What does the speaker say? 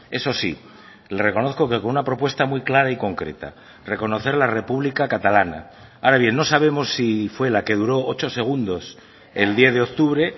eso sí le reconozco que con una propuesta muy clara y concreta reconocer la república catalana ahora bien no sabemos si fue la que duró ocho segundos el diez de octubre